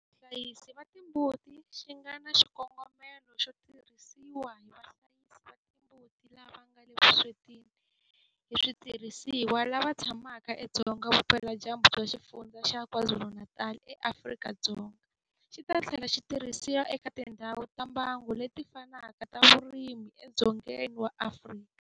Vahlayisi va timbuti xi nga na xikongomelo xo tirhisiwa hi vahlayisi va timbuti lava nga le vuswetini hi switirhisiwa lava tshamaka edzonga vupeladyambu bya Xifundzha xa KwaZulu-Natal eAfrika-Dzonga, xi ta tlhela xi tirhisiwa eka tindhawu ta mbango leti fanaka ta vurimi edzongeni wa Afrika.